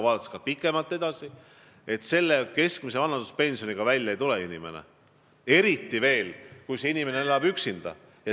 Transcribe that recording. Kui pikemalt edasi vaadata, siis inimene praeguse keskmise vanaduspensioniga välja ei tule, eriti veel siis, kui see inimene elab üksinda.